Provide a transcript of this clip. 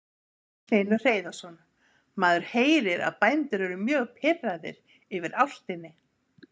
Magnús Hlynur Hreiðarsson: Maður heyrir að bændur eru mjög pirraðir yfir álftinni?